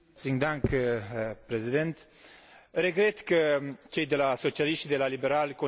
Regret că cei de la socialiști și de la liberali consideră instituțiile europene ca fiindu le dușmani.